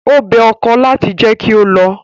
Ó bẹ ọkọ láti jẹ́ kí ó lọ.